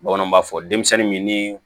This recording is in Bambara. Bamananw b'a fɔ denmisɛnnin min ni